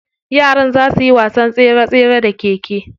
Yaran za suyi wasan tsere tsere da keke.